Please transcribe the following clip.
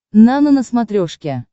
нано на смотрешке